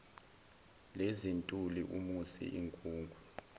lezintuli umusi inkungu